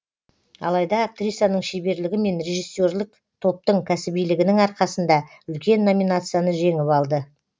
алайда актрисаның шеберлігі мен режиссерлік топтың кәсібилігінің арқасында үлкен номинацияны жеңіп алды